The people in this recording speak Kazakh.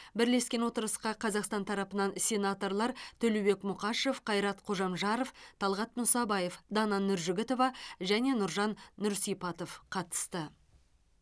бірлескен отырысқа қазақстан тарапынан сенаторлар төлеубек мұқашев қайрат қожамжаров талғат мұсабаев дана нұржігітова және нұржан нұрсипатов қатысты